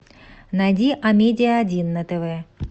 найди амедиа один на тв